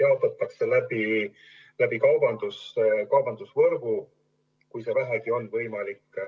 jaotatakse läbi kaubandusvõrgu, kui see vähegi on võimalik.